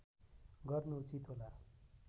गर्नु उचित होला